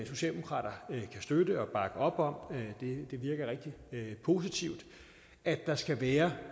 socialdemokrater kan støtte og bakke op om det virker rigtig positivt at der skal være